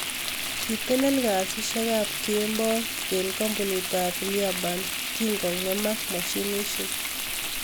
Kitelel Kasishek ap kemboi ing kampunit ap Liaburn kingomemak mashinishek.